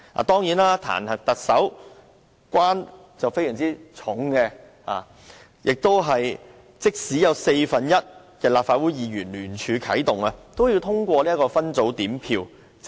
當然，彈劾特首難關重重，即使有四分之一的立法會議員聯署啟動彈劾機制，還要通過分組點票。